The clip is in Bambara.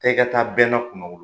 Taa i ka taa bɛnna kunnawolo